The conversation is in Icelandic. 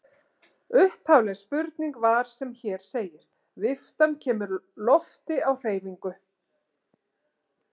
Upphafleg spurning var sem hér segir: Viftan kemur lofti á hreyfingu.